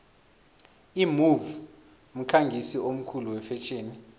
imove mkhangisi omkhulu wefetjheni